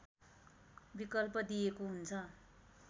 विकल्प दिइएको हुन्छ